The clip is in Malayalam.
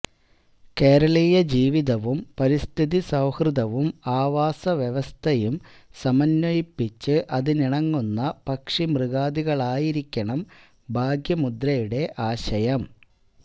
കേരളീയ ജീവിതവും പരിസ്ഥിതി സൌഹൃദവും ആവാസ വ്യവസ്ഥയും സമന്വയിപ്പിച്ച് അതിനിണങ്ങുന്ന പക്ഷിമൃഗാദികളായിരിക്കണം ഭാഗ്യമുദ്രയുടെ ആശയം